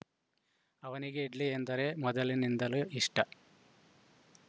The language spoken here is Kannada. ಅವನಿಗೆ ಇಡ್ಲಿ ಎಂದರೆ ಮೊದಲಿನಿಂದಲೂ ಇಷ್ಟ